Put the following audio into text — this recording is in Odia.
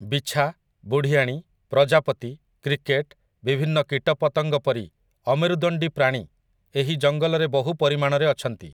ବିଛା, ବୁଢିଆଣୀ, ପ୍ରଜାପତି, କ୍ରିକେଟ୍, ବିଭିନ୍ନ କୀଟପତଙ୍ଗ ପରି ଅମେରୁଦଣ୍ଡୀ ପ୍ରାଣୀ ଏହି ଜଙ୍ଗଲରେ ବହୁ ପରିମାଣରେ ଅଛନ୍ତି ।